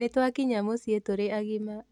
Nĩtwakinya mũciĩ tũrĩ agima